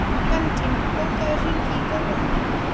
Bentína, bókaðu hring í golf á mánudaginn.